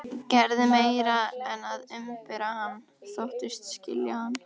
Gerði meira en að umbera hann: þóttist skilja hann.